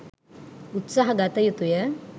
උත්සාහ ගත යුතුය.